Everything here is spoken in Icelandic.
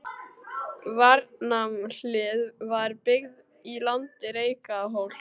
Varmahlíð var byggð í landi Reykjarhóls.